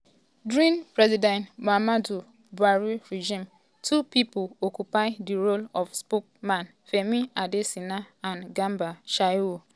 during president muhammadu um buhari regime two pipo occupy di role of spokesmanfemi adesinaand garba shehu.